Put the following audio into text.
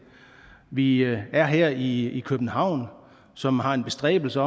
vi er her i københavn som har en bestræbelse